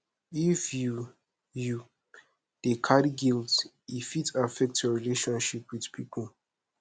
if you you dey carry guilt e fit affect your relationship wit pipo